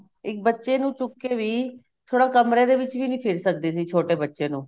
ਇੱਕ ਬੱਚੇ ਨੂੰ ਚੁੱਕ ਕੇ ਵੀ ਥੋੜਾ ਕਮਰੇ ਦੇ ਵਿੱਚ ਵੀ ਨਹੀਂ ਫਿਰ ਸਕਦੀ ਸੀ ਛੋਟੇ ਬੱਚੇ ਨੂੰ